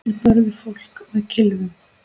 Þeir börðu fólk með kylfum.